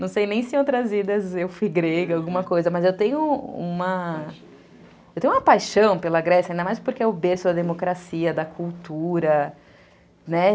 Não sei nem se em outras idas eu fui grega, alguma coisa, mas eu tenho uma... Eu tenho uma paixão pela Grécia, ainda mais porque é o berço da democracia, da cultura, né?